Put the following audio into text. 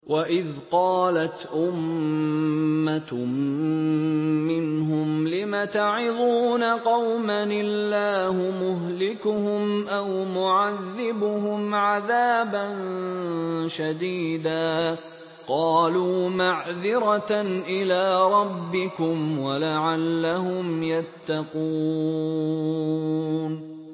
وَإِذْ قَالَتْ أُمَّةٌ مِّنْهُمْ لِمَ تَعِظُونَ قَوْمًا ۙ اللَّهُ مُهْلِكُهُمْ أَوْ مُعَذِّبُهُمْ عَذَابًا شَدِيدًا ۖ قَالُوا مَعْذِرَةً إِلَىٰ رَبِّكُمْ وَلَعَلَّهُمْ يَتَّقُونَ